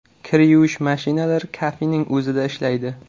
Kir yuvish mashinalari kafening o‘zida ishlaydi.